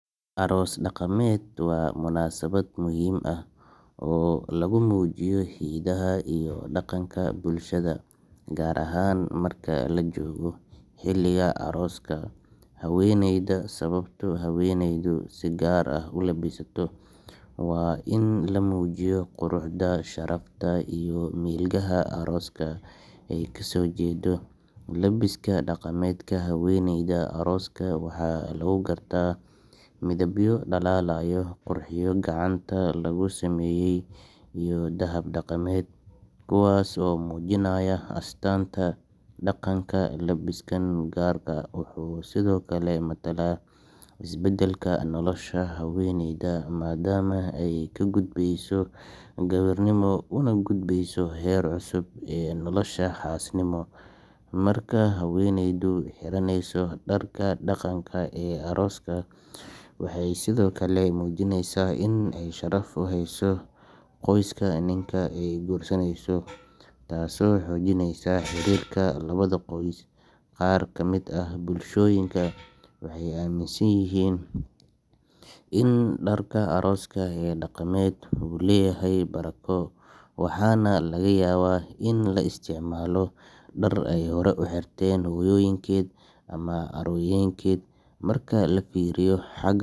Arooska dhaqameed waa munaasabad muhiim ah oo lagu muujiyo hidaha iyo dhaqanka bulshada, gaar ahaan marka la joogo xilliga arooska haweeneyda. Sababta haweeneydu si gaar ah u labisato waa in la muujiyo quruxda, sharafta, iyo milgaha qoyska ay kasoo jeedo. Labiska dhaqameedka haweeneyda arooska waxaa lagu gartaa midabyo dhalaalaya, qurxiyo gacanta lagu sameeyey, iyo dahab dhaqameed, kuwaas oo muujinaya astaanta dhaqanka. Labiskan gaarka ah wuxuu sidoo kale matalaa isbeddelka nolosha haweeneyda, maadaama ay ka gudbayso gabarnimo una gudbeyso heer cusub oo ah xaasnimo. Marka haweeneydu xiranayso dharka dhaqanka ee arooska, waxay sidoo kale muujineysaa in ay sharaf u hayso qoyska ninka ay guursaneyso, taasoo xoojinaysa xiriirka labada qoys. Qaar ka mid ah bulshooyinka waxay aaminsan yihiin in dharka arooska ee dhaqameed uu leeyahay barako, waxaana laga yaabaa in la isticmaalo dhar ay horey u xirteen hooyooyinkeed ama ayeeyooyinkeed. Marka la fiiriyo xagga.